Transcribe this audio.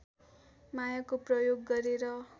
मायाको प्रयोग गरेर